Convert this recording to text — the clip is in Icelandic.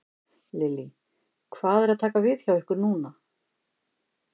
Lillý: Hvað er að taka við hjá ykkur núna?